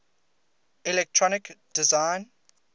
electronic design